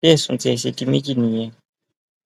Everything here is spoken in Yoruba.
bí ẹsùn tiẹ ṣe di méjì nìyẹn